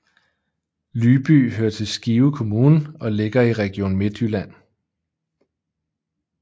Lyby hører til Skive Kommune og ligger i Region Midtjylland